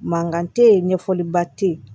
Mankan tɛ yen ɲɛfɔliba tɛ yen